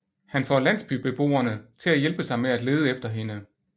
Han får landsbybeboerne til at hjælpe sig med at lede efter hende